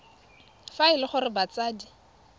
fa e le gore batsadi